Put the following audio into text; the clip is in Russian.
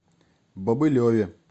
бобылеве